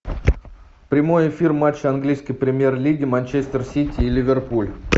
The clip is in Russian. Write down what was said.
прямой эфир матча английской премьер лиги манчестер сити и ливерпуль